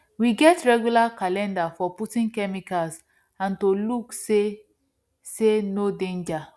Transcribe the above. we get regular calendar for putting chemicals and to look say say no danger